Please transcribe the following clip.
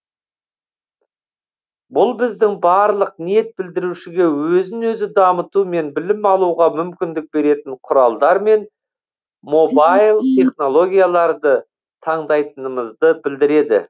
бұл біздің барлық ниет білдірушіге өзін өзі дамыту мен білім алуға мүмкіндік беретін құралдар мен мобайл технологияларды таңдайтынымызды білдіреді